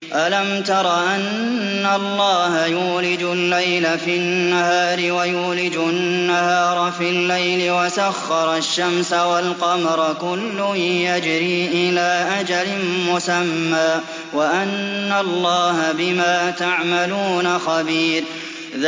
أَلَمْ تَرَ أَنَّ اللَّهَ يُولِجُ اللَّيْلَ فِي النَّهَارِ وَيُولِجُ النَّهَارَ فِي اللَّيْلِ وَسَخَّرَ الشَّمْسَ وَالْقَمَرَ كُلٌّ يَجْرِي إِلَىٰ أَجَلٍ مُّسَمًّى وَأَنَّ اللَّهَ بِمَا تَعْمَلُونَ خَبِيرٌ